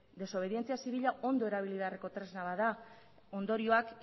desobedientzia zibila ondo erabili beharreko tresna bat da ondorioak